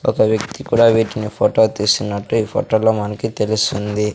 ఒక వ్యక్తి కూడా వీటిని ఫొటో తీస్తున్నట్టు ఈ ఫొటో లో మనకి తెలుస్తుంది.